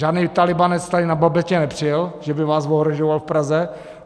Žádný tálibánec tady na babetě nepřijel, že by vás ohrožoval v Praze.